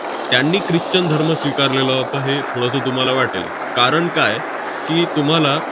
त्यांनी christian धर्म स्वीकारलेला होता, हे थोडंसं तुम्हाला वाटेल. कारण काय की, तुम्हाला